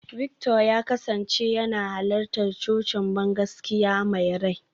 Victor ya kasance yana halartar cocin bangaskiya mai rai.